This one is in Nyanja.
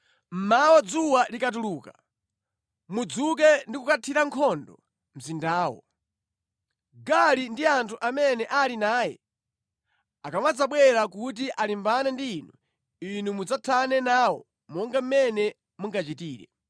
Mmawa dzuwa likutuluka, mudzuke ndi kukathira nkhondo mzindawo. Gaali ndi anthu amene ali naye akamadzabwera kuti alimbane ndi inu, inu mudzathane nawo monga mmene mungachitire.”